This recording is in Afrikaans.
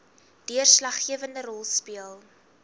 deurslaggewende rol speel